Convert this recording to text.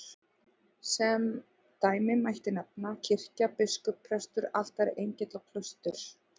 Sem dæmi mætti nefna kirkja, biskup, prestur, altari, engill, klaustur.